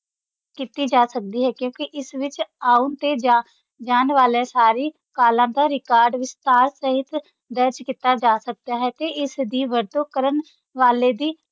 ਕੀਤੀ ਜਾ ਸਕਦੀ ਹੈ ਕਿਉਂਕਿ ਇਸ ਵਿੱਚ ਆਉਣ ਤੇ ਜਾ~ ਜਾਣ ਵਾਲੀਆਂ ਸਾਰੀ ਕਾਲਾਂ ਦਾ record ਵਿਸਥਾਰ ਸਹਿਤ ਦਰਜ ਕੀਤਾ ਜਾ ਸਕਦਾ ਹੈ ਤੇ ਇਸ ਦੀ ਵਰਤੋਂ ਕਰਨ ਵਾਲੇ ਦੀ